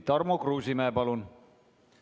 Tarmo Kruusimäe, palun!